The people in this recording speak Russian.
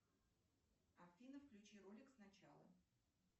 афина включи ролик сначала